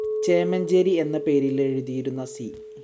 ചേമഞ്ചേരി എന്ന പേരിലെഴുതിയിരുന്ന സി.